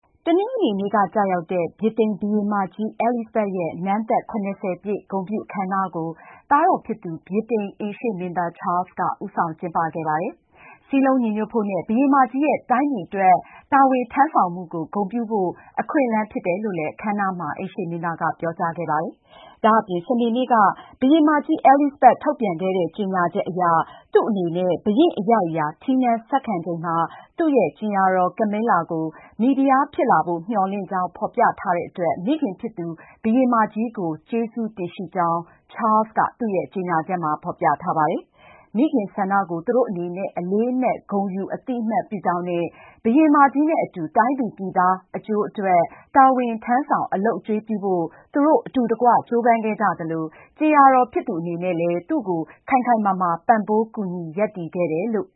တနင်္ဂနွေနေ့က ကျရောက်တဲ့ ဗြိတိန်ဘုရင်မကြီး အဲလိဇဘက်ရဲ့ နန်းသက် ၇၀ ပြည့် ဂုဏ်ပြုအခမ်းအနားကို သားတော်ဖြစ်သူ ဗြိတိန်အိမ်ရှေ့မင်းသား ချားလ်စ်က ဦးဆောင် ကျင်းပခဲ့ပါတယ်။ စည်းလုံးညီညွတ်ဖို့နဲ့ ဘုရင်မကြီးရဲ့ တိုင်းပြည်အတွက် တာဝန်ထမ်းဆောင်မှုကို ဂုဏ်ပြုဖို့ အခွင့်အလမ်း ဖြစ်တယ်လို့ အခမ်းအနားမှာ အိမ်ရှေ့မင်းသားက ပြောကြားခဲ့ပါတယ်။ ဒါ့အပြင် စနေနေ့က ဘုရင်မကြီး အဲလိဇဘက် ထုတ်ပြန်ခဲ့တဲ့ ကြေညာချက်အရ သူ့အနေနဲ့ ဘုရင့်အရိုက်အရာ ထီးနန်းဆက်ခံချိန်မှာ သူ့ရဲ့ကြင်ယာတော် Camilla ကို မိဖုရားဖြစ်လာဖို့ မျှော်လင့်ကြောင်း ဖော်ပြထားတဲ့အတွက် မိခင်ဖြစ်သူ ဘုရင်မကြီးကို ကျေးဇူးတင်ရှိကြောင်း Charles က သူ့ရဲ့ကြေညာချက်မှာ ဖော်ပြထားပါတယ်။ မိခင်ဆန္ဒကို သူတို့အနေနဲ့ အလေးအနက် ဂုဏ်ယူ အသိအမှတ်ပြုကြောင်းနဲ့ ဘုရင်မကြီးနဲ့အတူ တိုင်းသူပြည်သားတွေ အကျိုးအတွက် တာဝန်ထမ်းဆောင် အလုပ်အကျွေးပြုဖို့ သူတို့ အတူတကွ ကြိုးပမ်းခဲ့ကြသလို ကြင်ယာတော်ဖြစ်သူ အနေနဲ့လည်း သူ့ကို ခိုင်ခိုင်မာမာ ပံ့ပိုးကူညီ ရပ်တည်ခဲ့တယ်လို့